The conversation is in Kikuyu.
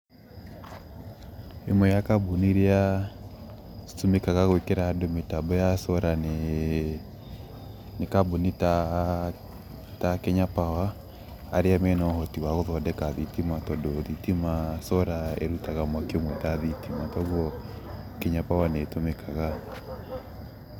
Ĩmwe ya kambuni citũmĩkaga gwĩkĩra solar nĩ kambuni ta Kenya power arĩa mena ũhoti wa gũthondeka thitima tondũ thitima ,solar ũrutaga mwaki ũmwe ta thitima koguo Kenya power nĩ tũmĩkaga.